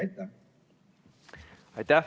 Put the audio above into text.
Aitäh!